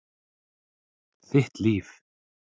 Þitt líf.